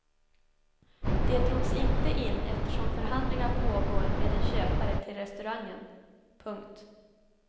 Det drogs inte in eftersom förhandlingar pågår med en köpare till restaurangen. punkt